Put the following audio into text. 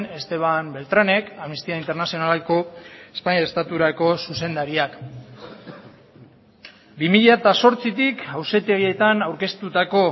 esteban beltranek amnistia internazionaleko espainiar estaturako zuzendariak bi mila zortzitik auzitegietan aurkeztutako